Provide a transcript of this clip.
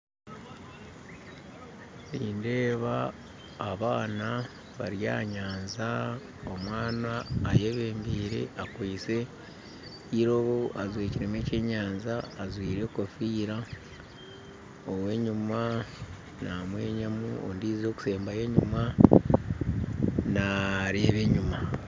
Nindeeba abaana bari aha nyanja omwana ayebembire akwitse irobo ajwekeremu ekyenyanja ajwaire kofiira owa enyuuma namwenyamu ondijo akusembayo enyuma nareeba enyuma